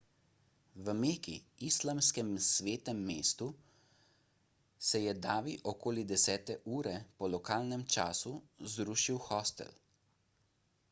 v meki islamskem svetem mestu se je davi okoli desete ure po lokalnem času zrušil hostel